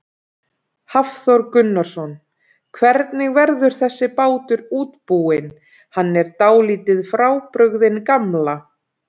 Hafþór Gunnarsson: Hvernig verður þessi bátur útbúinn, hann er dálítið frábrugðinn gamla?